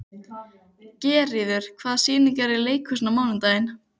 Geirríður, hvaða sýningar eru í leikhúsinu á mánudaginn?